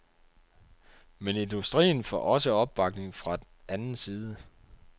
Men industrien får også opbakning fra anden side.